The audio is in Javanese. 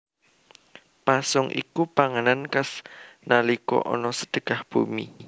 Pasung iku panganan khas nalika ana Sedekah Bumi